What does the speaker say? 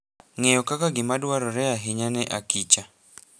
Ng'eyo kaka gima dwarore ahinya ne akicha .